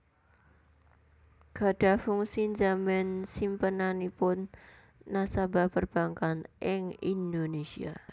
gadhah fungsi njamin simpenanipun nasabah perbankan ing Indonésia